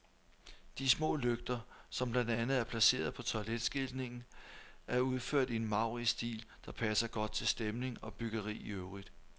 De små lygter, som blandt andet er placeret på toiletskiltningen, er udført i en maurisk stil, der passer godt til stemning og byggeri i øvrigt.